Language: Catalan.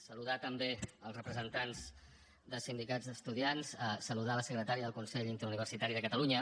saludar també els representants de sindicats d’estudiants saludar la secretària del consell interuniversitari de catalunya